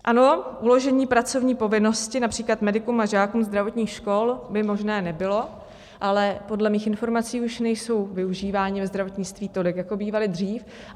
Ano, uložení pracovní povinnosti, například medikům a žákům zdravotních škol, by možné nebylo, ale podle mých informací už nejsou využíváni ve zdravotnictví tolik, jako bývali dřív.